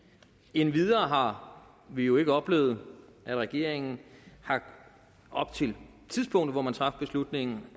endvidere har vi jo ikke oplevet at regeringen op til tidspunktet hvor man traf beslutningen